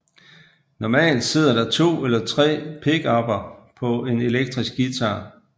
Normalt sidder der 2 eller 3 pickupper på en elektrisk guitar